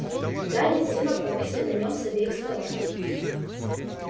гарри с дином повисли на нём с обеих сторон